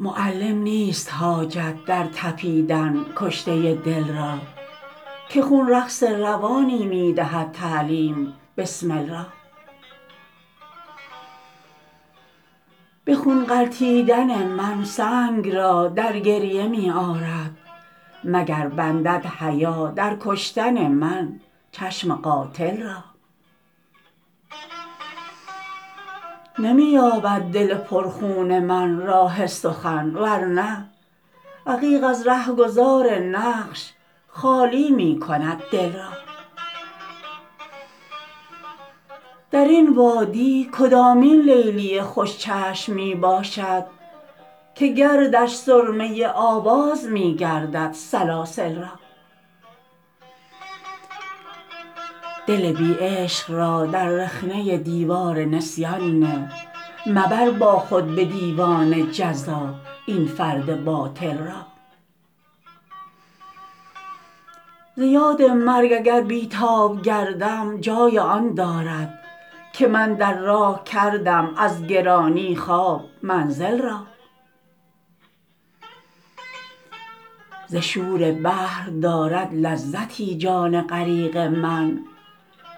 معلم نیست حاجت در تپیدن کشته دل را که خون رقص روانی می دهد تعلیم بسمل را به خون غلطیدن من سنگ را در گریه می آرد مگر بندد حیا در کشتن من چشم قاتل را نمی یابد دل پر خون من راه سخن ورنه عقیق از رهگذار نقش خالی می کند دل را درین وادی کدامین لیلی خوش چشم می باشد که گردش سرمه آواز می گردد سلاسل را دل بی عشق را در رخنه دیوار نسیان نه مبر با خود به دیوان جزا این فرد باطل را زیاد مرگ اگر بی تاب گردم جای آن دارد که من در راه کردم از گرانی خواب منزل را ز شور بحر دارد لذتی جان غریق من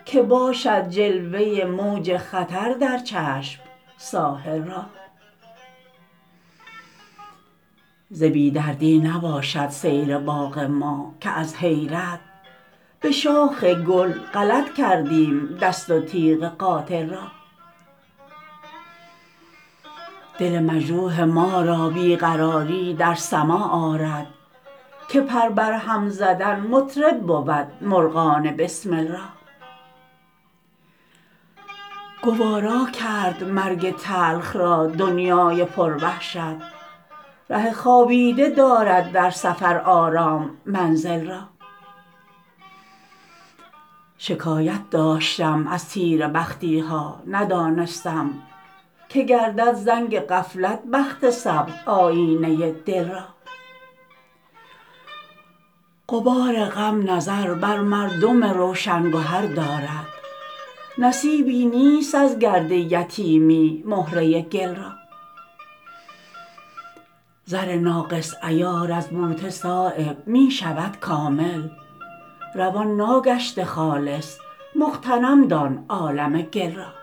که باشد جلوه موج خطر در چشم ساحل را ز بی دردی نباشد سیر باغ ما که از حیرت به شاخ گل غلط کردیم دست و تیغ قاتل را دل مجروح ما را بی قراری در سماع آرد که پر بر هم زدن مطرب بود مرغان بسمل را گوارا کرد مرگ تلخ را دنیای پر وحشت ره خوابیده دارد در سفر آرام منزل را شکایت داشتم از تیره بختی ها ندانستم که گردد زنگ غفلت بخت سبز آیینه دل را غبار غم نظر بر مردم روشن گهر دارد نصیبی نیست از گرد یتیمی مهره گل را زر ناقص عیار از بوته صایب می شود کامل روان ناگشته خالص مغتنم دان عالم گل را